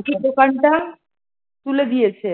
পাখির দোকানটা, তুলে দিয়েছে